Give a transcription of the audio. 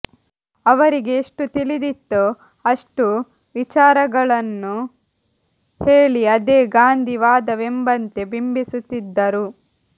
ಅವರಿಗೆ ಎಷ್ಟು ತಿಳಿದಿತ್ತೋ ಅಷ್ಟು ವಿಚಾರಗಳನ್ನು ಹೇಳಿ ಅದೇ ಗಾಂಧಿ ವಾದವೆಂಬಂತೆ ಬಿಂಬಿಸುತ್ತಿದ್ದರು